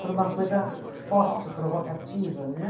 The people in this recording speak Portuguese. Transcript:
Por uma coisa forte, provocativa, né?